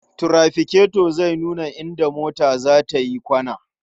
Tirafikato zai nuna idan mota za ta yi kwana.